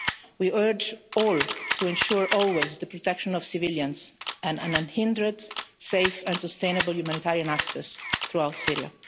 We urge all to ensure always the protection of civilians and unhindered, safe and sustainable humanitarian access throughout Syria.